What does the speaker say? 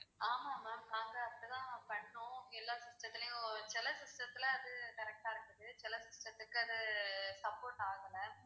ஆமா ma'am நாங்க அப்படி தான் பண்ணோம் எல்லாம் system த்துலேயும் சில system த்துல அது correct ஆ இருக்குது சில system த்துக்கு அது support ஆகலை